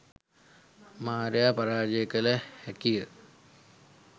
මාරයා පරාජය කළ හැකිය.